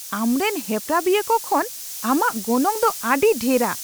ᱟᱢᱨᱮᱱ ᱦᱮᱯᱨᱟᱣᱤᱭᱟᱹᱠᱚ ᱠᱷᱚᱱ ᱟᱢᱟᱜ ᱜᱚᱱᱚᱝ ᱫᱚ ᱟᱹᱰᱤ ᱰᱷᱮᱨᱟ ᱾